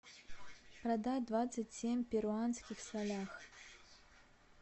продать двадцать семь перуанских солях